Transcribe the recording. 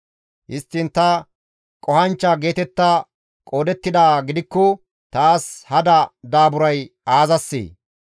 Histtiin ta qohanchcha geetetta qoodettidaa gidikko taas hada daaburay aazassee?